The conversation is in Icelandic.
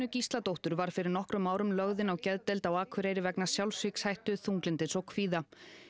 Gísladóttur var fyrir nokkrum árum lögð inn á geðdeild á Akureyri vegna sjálfsvígshættu þunglyndis og kvíða